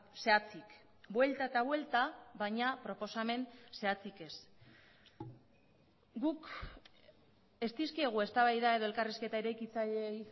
zehatzik buelta eta buelta baina proposamen zehatzik ez guk ez dizkiegu eztabaida edo elkarrizketa eraikitzaileei